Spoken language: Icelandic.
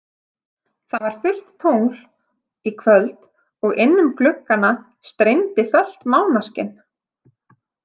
Það var fullt tungl í kvöld og inn um gluggana streymdi fölt mánaskin.